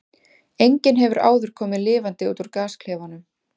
Enginn hefur áður komið lifandi út úr gasklefanum.